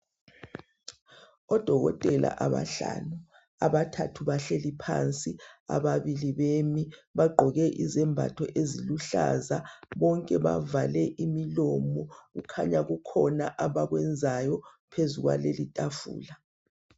Odokotela abahlanu abathathu bahleli phansi ababili bemi bagqoke izembatho eziluhlaza bonke bavale imilomo kukhanya kukhona abakwenzayo phezu kwalelotafula